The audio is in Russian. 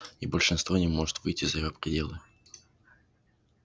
и большинство не может выйти за его пределы